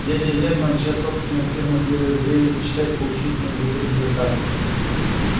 дядя вернон чья собственная фирма делает дрели мечтает получить от него выгодный заказ